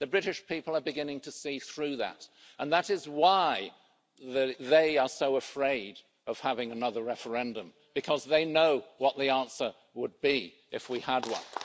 The British people are beginning to see through that, and that is why they are so afraid of having another referendum, because they know what the answer would be if we had one.